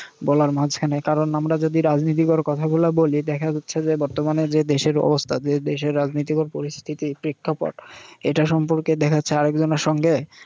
বলার মাঝখানে। কারণ আমরা যদি রাজনীতিকর কথাগুলা বলি দেখা যাচ্ছে যে বর্তমানে যে দেশের অবস্থা যে দেশের রাজনীতিকর পরিস্থিতি, প্রেক্ষাপট এটা সম্পর্কে দেখা যাচ্ছে আরেকজনের সঙ্গে